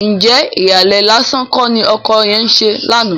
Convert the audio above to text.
Ǹjẹ́ ìhàlẹ̀ lásán kọ́ ni ọkọ yẹn ń ṣe lánàá?